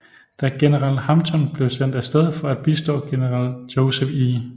Da general Hampton blev sendt af sted for at bistå general Joseph E